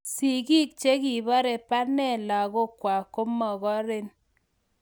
Sigiik chegibare pane lagookwag komogoren